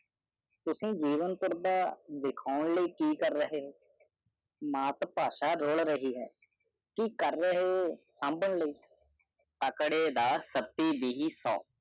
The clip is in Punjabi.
ਤੁਸੀ ਵਾਘਮ ਕਾਰਡ ਦੇਖੌ ਲੇ ਕੀ ਕਾਰ ਰਹਿਆ ਓ ਇਸ ਲਈ ਭਾਸ਼ਾ ਬਚੀ ਹੈ ਤੁਸੀਂ ਨਿਮਰ ਕੀ ਕਰ ਰਹੇ ਹੋ ਅਖਰੀ ਦੀ ਸੱਤੀ ਦੇਹਿ ਸੋ